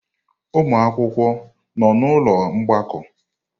Ụmụ akwụkwọ nọ n'ụlọ mgbakọ?